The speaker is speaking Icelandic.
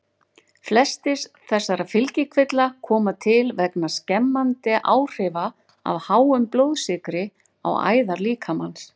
Flestir þessara fylgikvilla koma til vegna skemmandi áhrifa af háum blóðsykri á æðar líkamans.